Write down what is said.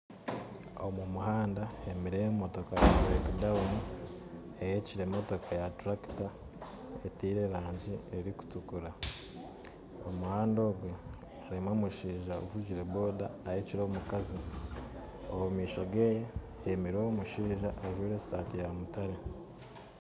Omu muhanda hemerire motoka ya breakdown ehekire motoka ya turakita etiire rangyi erikutukura omu muhanda ogwo harimu mushaija avugire boda ahekire omukazi omu maisho geye hemerire omushaija ajwaire saati yamutare